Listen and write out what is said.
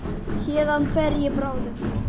Héðan fer ég bráðum.